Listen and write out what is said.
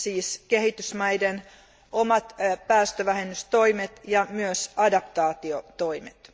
siis kehitysmaiden omat päästövähennystoimet ja myös adaptaatiotoimet.